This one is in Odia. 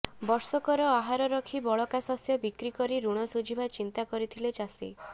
ବର୍ଷକର ଆହାର ରଖି ବଳକା ଶସ୍ୟ ବିକ୍ରି କରି ଋଣ ସୁଝିବା ଚିନ୍ତା କରିଥିଲେ ଚାଷୀ